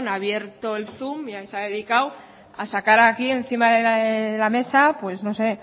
abierto el zoom y ahí se ha dedicado a sacar aquí encima de la mesa pues no sé